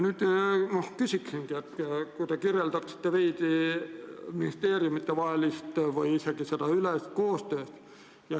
Nüüd ma palungi teil veidi kirjeldada seda ministeeriumidevahelist või -ülest koostööd.